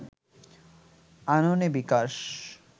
আননে বিকাশ